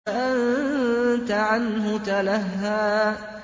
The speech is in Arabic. فَأَنتَ عَنْهُ تَلَهَّىٰ